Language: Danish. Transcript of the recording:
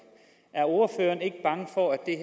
er ordføreren ikke bange for at det